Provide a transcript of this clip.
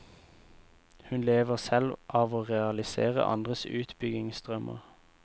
Hun lever selv av å realisere andres utbyggingsdrømmer.